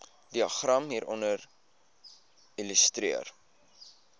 diagram hieronder illustreer